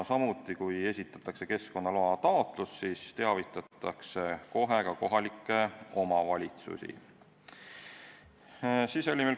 Samuti, kui esitatakse keskkonnaloa taotlus, siis teavitatakse kohe ka kohalikku omavalitsust.